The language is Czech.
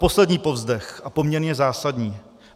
Poslední povzdech - a poměrně zásadní.